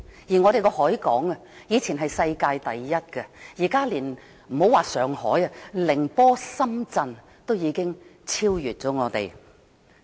香港的海港，以前是世界第一，現在別說是上海，連寧波、深圳都已經超越香港。